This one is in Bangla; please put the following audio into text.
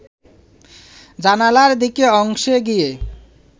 জানালার দিকের অংশে গিয়ে